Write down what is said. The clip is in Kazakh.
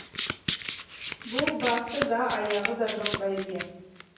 бұл басы да аяғы да жоқ бәйге